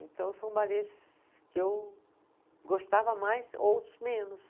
Então, são balês que eu gostava mais, outros menos.